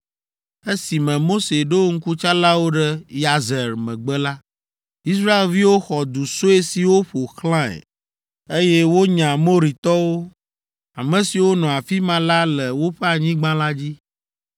Esime Mose ɖo ŋkutsalawo ɖe Yazer megbe la, Israelviwo xɔ du sue siwo ƒo xlãe, eye wonya Amoritɔwo, ame siwo nɔ afi ma la le woƒe anyigba la dzi.